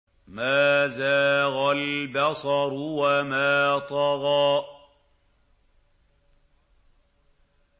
مَا زَاغَ الْبَصَرُ وَمَا طَغَىٰ